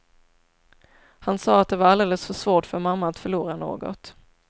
Han sa att det var alldeles för svårt för mamma att förlora något.